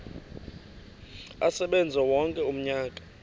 asebenze wonke umnyaka